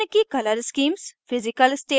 निम्न की color schemes1 physical state